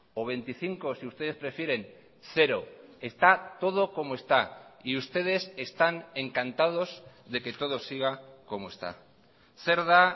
o veinticinco si ustedes prefieren cero está todo como está y ustedes están encantados de que todo siga como está zer da